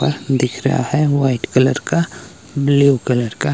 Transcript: दिख रहा है वाइट कलर का ब्लू कलर का--